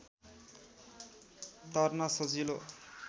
तर्न सजिलो